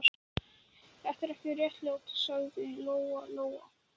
Þetta er ekki réttlátt, sagði Lóa-Lóa.